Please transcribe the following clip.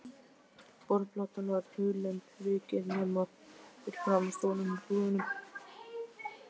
Borðplatan var hulin ryki, nema fyrir framan stólinn með púðanum.